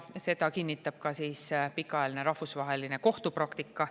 Seda kinnitab ka pikaajaline rahvusvaheline kohtupraktika.